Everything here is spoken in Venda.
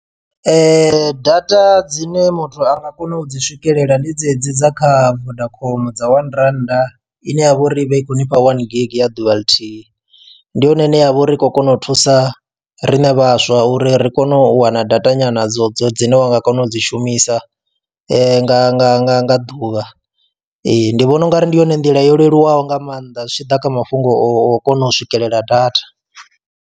Data dzine muthu anga kona u dzi swikelela ndi dzedzi dza kha vodacom dza one rannda ine ya vha uri ivha i kho ni fha one gig ya ḓuvha ḽithihi. Ndi yone ine ya vha uri i khou kona u thusa rine vhaswa uri ri kone u wana data nyana dzo dzo dzine wa nga kona u dzi shumisa nga nga nga nga ḓuvha ee ndi vhona ungari ndi yone nḓila yo leluwaho nga maanḓa zwi tshi ḓa kha mafhungo o kona u swikelela data.